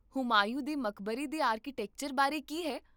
ਹੁਮਾਯੂੰ ਦੇ ਮਕਬਰੇ ਦੇ ਆਰਕੀਟੈਕਚਰ ਬਾਰੇ ਕੀ ਹੈ?